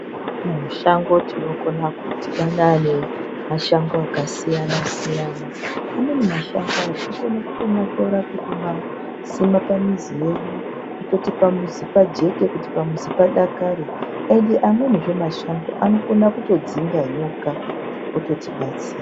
Mushango tinokona kudhibana nemashango akasiyana siyana amweni mashango tinokone kutomatora tichimasima pamuzi yedu kuti pamuzi pajeke kuti pamuzi padakare ende amwenizve mashango anokona kutodzinga nyoka zvototibatsira.